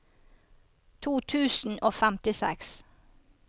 to tusen og femtiseks